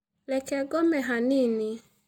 Reke ngome hanini.